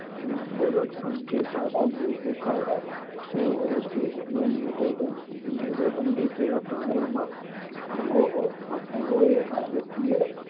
નુપુરુક, સંધિપાદ, મૃદુકાય, શૂળત્વચી અને મેરુદંડી જેવા પ્રાણીઓમાં અંગો એ કાર્યકીય